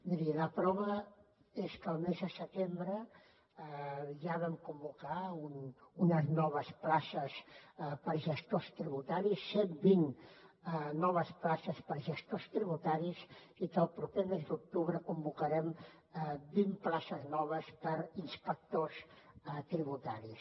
miri la prova és que al mes de setembre ja vam convocar unes noves places per a gestors tributaris cent vint noves places per a gestors tributaris i que al proper mes d’octubre convocarem vint places noves per a inspectors tributaris